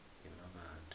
yemmabatho